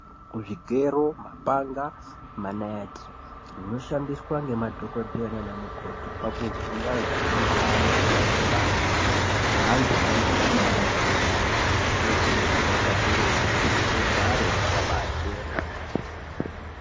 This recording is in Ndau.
Zvigero, mapanga , maniti zvinoshandiswa nemadhogodheya nana mukoti pakuvhiya anhu anenge aine mushuna unopanda neantu anenge aida kubara nepandani zvinokurudzirwa kakurutu kuti zvigare zvakabaa chena.